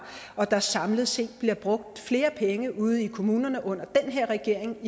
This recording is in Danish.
og at der samlet set bliver brugt flere penge ude i kommunerne under den her regering